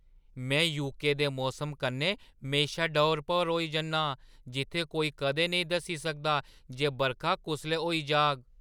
में यूके दे मौसम कन्नै म्हेशा डौर-भौर होई जन्नां जित्थै कोई कदें नेईं दस्सी सकदा जे बरखा कुसलै होई जाग।